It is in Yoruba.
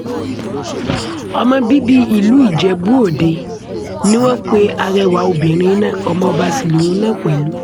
ọmọ bíbí ìlú ijebu-òde ni wọ́n pe arẹwà obìnrin náà ọmọọba sí lòun náà pẹ̀lú